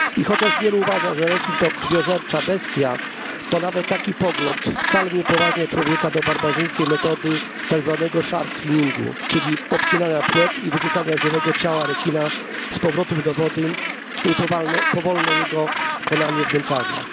I chociaż wielu uważa, że rekin to krwiożercza bestia, to nawet taki pogląd wcale nie upoważnia człowieka do barbarzyńskiej metody tak zwanego shark finningu czyli obcinania płetw i wyrzucania żywego ciała rekina z powrotem do wody, co powoduje jego powolne konanie w męczarniach.